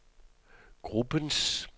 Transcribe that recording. gruppens